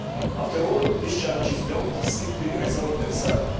After all, these challenges do not simply resolve themselves.